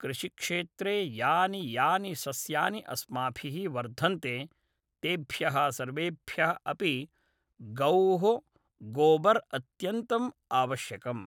कृषिक्षेत्रे यानि यानि सस्यानि अस्माभिः वर्धन्ते तेभ्यः सर्वेभ्यः अपि गौः गोबर् अत्यन्तम् आवश्यकम्